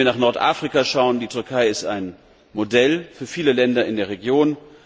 Wenn wir nach Nordafrika schauen, ist die Türkei ein Modell für viele Länder in der Region.